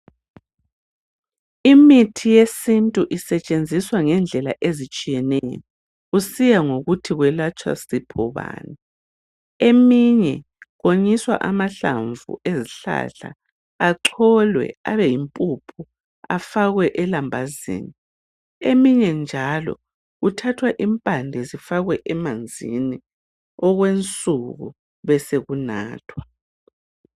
Imithi yesintu isetshenziswa ngendlela ezitshiyeneyo , kusiya ngokuthi kwelatshwa sifo bani. Eminye konyiswa amahlamvu ezihlahla, acholwe abeyimpuphu, afakwe elambazini. Eminye njalo kuthathwa impande zifakwe emanzini okwensuku besekunathwa.